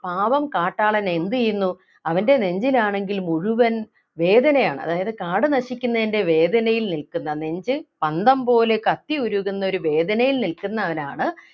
പാവം കാട്ടാളൻ എന്തു ചെയ്യുന്നു അവൻ്റെ നെഞ്ചിൽ ആണെങ്കിൽ മുഴുവൻ വേദനയാണ് അതായത് കാട് നശിക്കുന്നതിൻ്റെ വേദനയിൽ നിൽക്കുന്ന നെഞ്ച് പന്തം പോലെ കത്തി ഉരുകുന്ന ഒരു വേദനയിൽ നിൽക്കുന്നവനാണ്